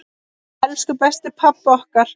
Elsku besti pabbi okkar.